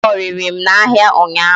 A họrịrị m n'ahịa ụnyaahụ